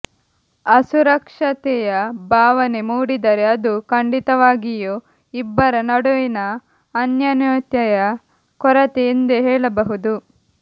ಅಸುರಕ್ಷತೆಯ ಭಾವನೆ ಮೂಡಿದರೆ ಅದು ಖಂಡಿತವಾಗಿಯೂ ಇಬ್ಬರ ನಡುವಿನ ಅನ್ಯೋನ್ಯತೆಯ ಕೊರತೆ ಎಂದೇ ಹೇಳಬಹುದು